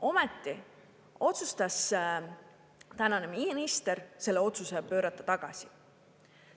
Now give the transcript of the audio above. Ometi otsustas tänane minister selle otsuse pöörata tagasi.